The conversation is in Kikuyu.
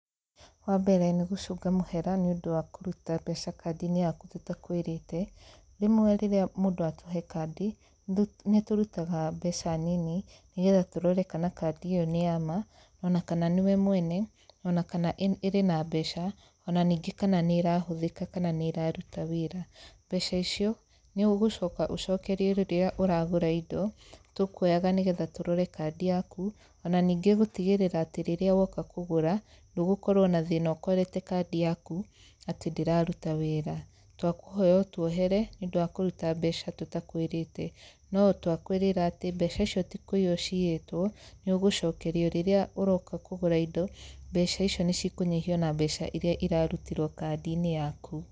Wa mbere nĩ gũcũnga mũhera nĩ ũndũ wa kũruta mbeca kandi-inĩ yaku tũtakwĩrĩte. Rĩmwe rĩrĩa mũndũ atũhe kandi, nĩ tũrutaga mbeca nini nĩ getha tũrore kana kandi ĩyo nĩ ya ma, ona kana nĩwe mwene, ona kana ĩrĩ na mbeca, ona ningĩ kana nĩ ĩrahũthĩka kana nĩ ĩraruta wĩra. Mbeca icio, nĩ ũgũcoka ũcokerio rĩrĩa ũragũra indo, tũkuoyaga nĩ getha tũrore kandi yaku, ona ningĩ gũtigĩrĩra atĩ rĩrĩa woka kũgũra, ndũgũkorwo na thĩna ũkorete kandi yaku atĩ ndĩraruta wĩra. Twakũhoya ũtuohere nĩ ũndũ wa kũruta mbeca tũtakwĩrĩte, no twakwĩrĩra atĩ mbeca icio ti kũiywo ciiyĩtwo , nĩ ũgũcokerio rĩrĩa ũroka kũgũra indo mbeca icio nĩ cikũnyihio na mbeca irĩa irarutirwo kandi-inĩ yaku.